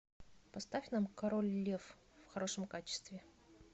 поставь нам король лев в хорошем качестве